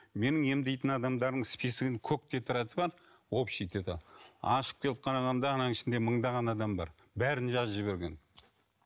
менің емдейтін адамдардың списогінің көк тетрады бар общий тетрадь ашып келіп қарағанда ананың ішінде мыңдаған адам бар бәрін жазып жіберген